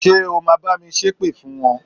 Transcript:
Ṣé o ma bá mi ṣépè fún wọn?